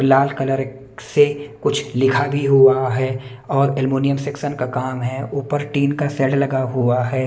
लाल colour से कुछ लिखा भी हुआ है और एलुमिनियम सेक्शन का काम है ऊपर टीन का सेड लगा हुआ है।